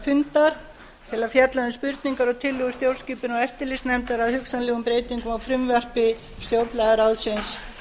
fundar til að fjalla um spurningar og tillögur stjórnskipunar og eftirlitsnefndar að hugsanlegum breytingum á frumvarpi stjórnlagaráðsins